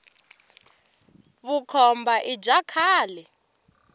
vukhomba i bya khale